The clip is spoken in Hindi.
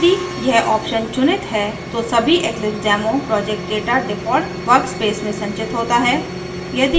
यदि यह option चुनित है तो सभी eclipsedemo project data default workspace में संचित होता है